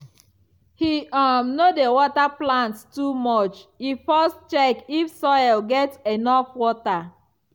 he um no dey water plants too much; e first check if soil get enough water.